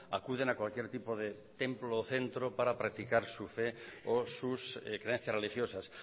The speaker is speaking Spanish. acuden a cualquier tipo de templo o centro para practicar su fe o sus creencias religiosas